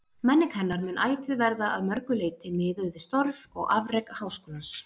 Menning hennar mun ætíð verða að mörgu leyti miðuð við störf og afrek Háskólans.